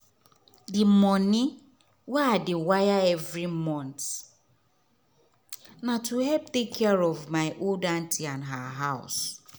the money wey i dey wire every month na to help take care of my old auntie and her house.